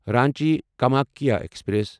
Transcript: Ranchi Kamakhya express